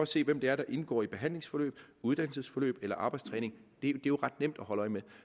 se hvem det er der indgår i et behandlingsforløb uddannelsesforløb eller arbejdstræning det er jo ret nemt at holde øje med